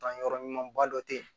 Kan yɔrɔ ɲumanba dɔ tɛ yi